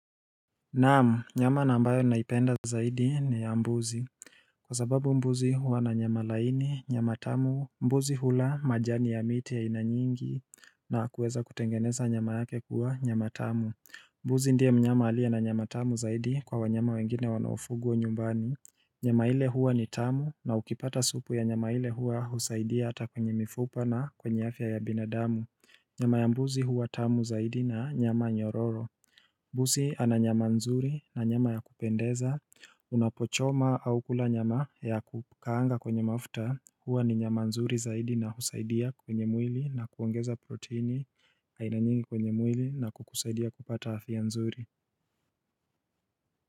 Naam, nyama na ambayo naipenda zaidi ni ya mbuzi Kwa sababu mbuzi huwa na nyama laini, nyama tamu, mbuzi hula majani ya miti ya aina nyingi na kuweza kutengeneza nyama yake kuwa nyama tamu mbuzi ndiye mnyama aliye na nyama tamu zaidi kwa wanyama wengine wanaofugwa wa nyumbani Nyama ile huwa ni tamu na ukipata supu ya nyama ile huwa husaidia hata kwenye mifupa na kwenye afya ya binadamu Nyama ya mbuzi huwa tamu zaidi na nyama nyororo Busi ananyama nzuri na nyama ya kupendeza Unapochoma aukula nyama ya kukaanga kwenye mafta Huwa ni nyama nzuri zaidi na husaidia kwenye mwili na kuongeza proteini aina nyingi kwenye mwili na kukusaidia kupata afya nzuri.